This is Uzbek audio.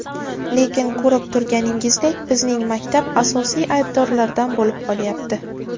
Lekin ko‘rib turganingizdek bizning maktab asosiy aybdorlardan bo‘lib qolyapti.